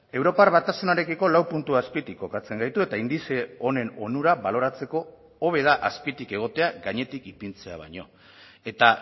europar batasunarekiko lau puntu azpitik kokatzen gaitu eta indize honen onura baloratzeko hobe da azpitik egotea gainetik ipintzea baino eta